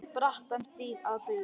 brattan stíg að baugi